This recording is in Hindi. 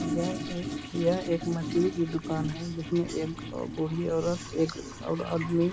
यह एक यह एक मछली की दुकान है जिसमे एक बूढी औरत एक और आदमी --